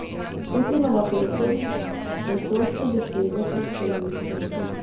Putinova pesem, francoske besede predsednice ...